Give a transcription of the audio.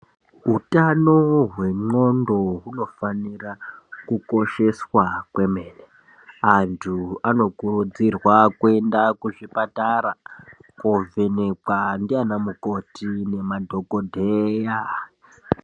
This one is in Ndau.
Hutano hwendxondo hunofanika kukosheswa kwemene antu anokuridzirwa kuenda kuzvipatara kovhenekwa ndiana mukoti nemadhokodheya.